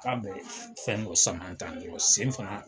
Ka bɛ fɛn dɔ sama tan dɔrɔn, sen fana